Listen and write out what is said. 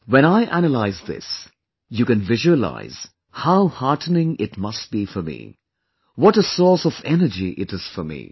When I analyse this, you can visualise how heartening it must be for me, what a source of energy it is for me